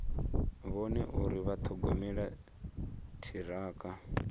vhone uri vha ṱhogomela ṱhirakha